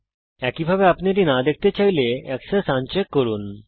একইভাবে যদি আপনি এটা দেখতে না চান তাহলে অক্ষ আন চেক করতে পারেন